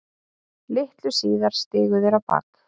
Litlu síðar stigu þeir á bak.